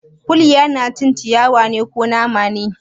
Kuliya na cin ciyawa ne, ko nama ne?